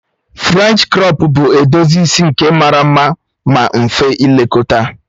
Frènchi krọp bụ edozi isi nke mara mma ma mfe ilekọta